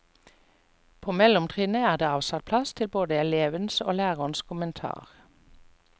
På mellomtrinnet er det avsatt plass til både elevens og lærerens kommentar.